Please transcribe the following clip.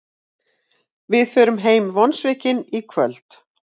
Við förum heim vonsviknir í kvöld